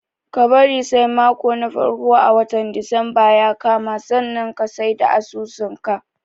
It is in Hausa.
Ka bari sai mako na farko a watan disamba ya kama sannan ka sai da asusun ka.